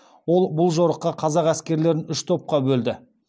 ол бұл жорықта қазақ әскерлерін үш топқа бөлді